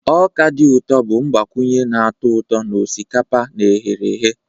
Ọka dị ụtọ bụ mgbakwunye na-atọ ụtọ na osikapa na eherehe.